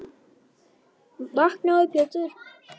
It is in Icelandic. Vaknaðu Pétur.